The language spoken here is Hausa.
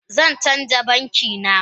Zan canza banki na